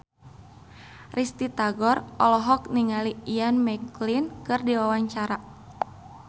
Risty Tagor olohok ningali Ian McKellen keur diwawancara